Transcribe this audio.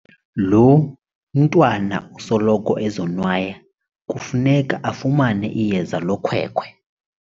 Lo mntwana usoloko ezonwaya kufuneka afumane iyeza lokhwekhwe.